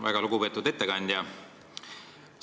Väga lugupeetud ettekandja!